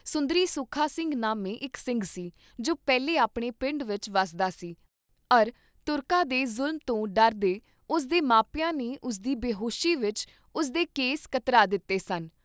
ਸੁੰਦਰੀ ਸੁਖਾ ਸਿੰਘ ਨਾਮੇ ਇਕ ਸਿੰਘ ਸੀ, ਜੋ ਪਹਿਲੇ ਆਪਣੇ ਪਿੰਡ ਵਿਚ ਵੱਸਦਾ ਸੀ ਅਰ ਤੁਰਕਾਂ ਦੇ ਜ਼ੁਲਮ ਤੋਂ ਡਰਦੇ ਉਸ ਦੇ ਮਾਪਿਆਂ ਨੇ ਉਸਦੀ ਬੇਹੋਸੀ ਵਿਚ ਉਸਦੇ ਕੇਸ ਕਤਰਾ ਦਿੱਤੇ ਸਨ।